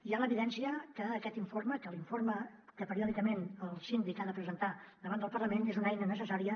hi ha l’evidència que aquest informe que l’informe que periòdicament el síndic ha de presentar davant del parlament és una eina necessària